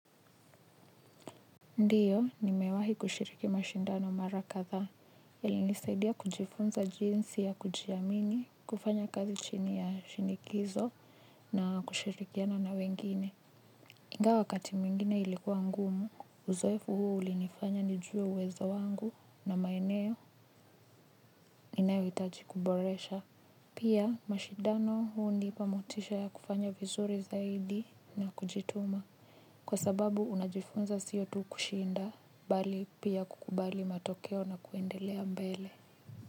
Ndiyo, nimewahi kushiriki mashindano mara kadha, yalinisaidia kujifunza jinsi ya kujiamini, kufanya kazi chini ya shinikizo, na kushirikiana na wengine. Ingawa wakati mwingine ilikuwa ngumu, uzoefu huo ulinifanya nijue uwezo wangu na maeneo, ninayohitaji kuboresha. Pia mashindano huo hunipa motisha ya kufanya vizuri zaidi na kujituma kwa sababu unajifunza sio tu kushinda bali pia kukubali matokeo na kuendelea mbele.